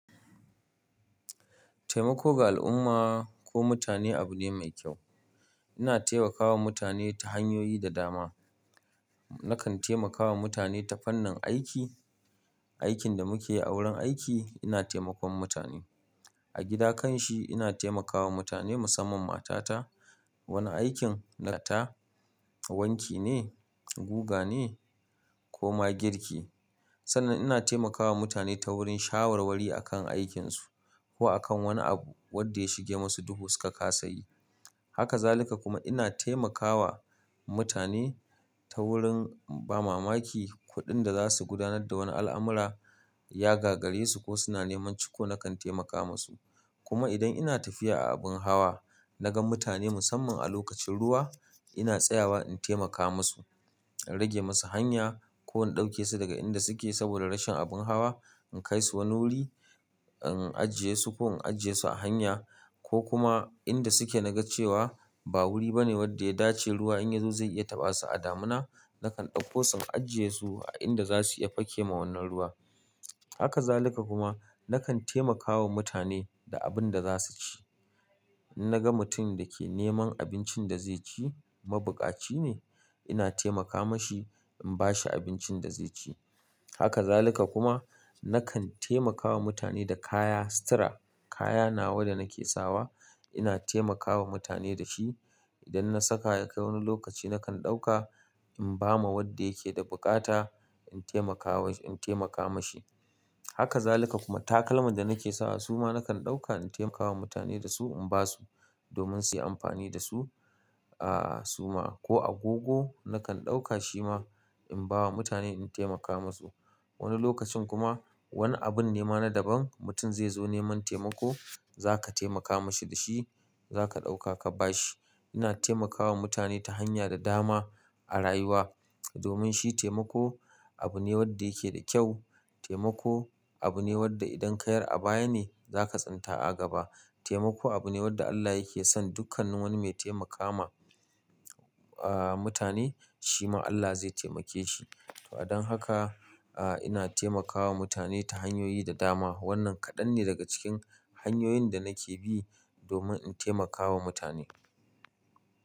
Taimako ga al'umma ko mutane abu ne mai kyau. Ina taimakawa mutane ta hanyoyi da dama. Na kan taimakawa mutane ta fannin aiki, aikin da muke a wurin aiki ina taimakon mutane. A gida kanshi ina taimakawa mutane musamman matata. Wanin aikin na ta wanki ne, guga ne ko ma girki. Sannan ina taimakawa mutane ta wurin shawarwari akan aikinsu ko akan wani abu wadda ya shige masu duhu suka kasa yi. Haka zalika kuma ina taimakawa mutane ta wurin ba mamaki kuɗin da za su gudanar da wani al'amura, ya gagare su ko suna neman ciko na kan taimaka masu. Kuma idan ina tafiya a abin hawa, na ga mutane musssaman a lokacin ruwa ina tsayawa in. Taimaka ma su, in rage ma su hanya ko in dauke su daga inda su ke saboda rashin abin hawa in kai sh wani wuri, in ajiye su ko in aje su a hanya ko kuma inda suke na ga cewa ba wuri bane wadda ya dace ruwa in ya zo zai iya taɓa su a damina, na kan ɗauko su in ajiye su a inda za su iya fake ma wannan ruwa. Haka zalika kuma na kan taimakawa mutane da abin da za su ci. In na ga mutum da ke neman abincin da zai ci, mabukaci ne ina taimaka ma shi in ba shi abincin da zai ci. Haka zalika kuma na kan taimaka wa mutane da kaya sutura. Kaya nawa da nake sawa ina taimakawa mutane da shi. Idan na saka ya kai wani lokaci nakan ɗauka in ba ma wadda yake da bukata in taimakawa, in taimaka ma shi. Haka zalika kuma takalman da nake sawa su ma na kan ɗauka in taimakawa mutane da su in ba su domin su yi amfani da su ah suma ko agogo na kan ɗauka shi ma in ba wa mutane in taimaka masu. Wani lokacin kuma wani abin ne ma na daban mutum zai zo neman taimako za ka taimaka ma shi da shi, za ka ɗauka ka ba shi. Ina taimakawa mutane ta hanya da dama a rayuwa domin shi taimako abu ne wadda yake da kyau. Taimako abu ne wadda idan ka yar a baya ne za ka tsinta a gaba. Taimako abu ne wadda Allah yake son dukkanin wani mai taimakawa mutane shi ma Allah zai taimake shi. To a don haka ah ina taimakawa mutane ta hanyoyi da dama. Wannan kaɗan ne daga cikin hanyoyin da nake bi domin in taimakawa mutane.